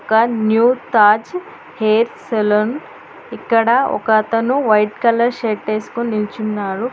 ఒక new Taj hair salon ఇక్కడ ఒకతను వైట్ కలర్ షర్ట్ వేసుకొని నిలుచున్నాడు.